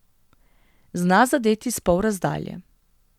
Zna zadeti s polrazdalje.